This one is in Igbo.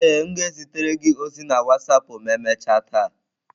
Ee, m ga-ezitere gị ozi na wasapụ ma emechaa taa.